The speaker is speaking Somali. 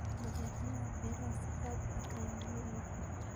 Badeecadaha beeraha si aad ah ayaa loo iibiyaa.